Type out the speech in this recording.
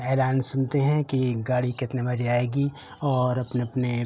हैरान सुनते है की गाड़ी कितने बजे आएगी और अपने-अपने --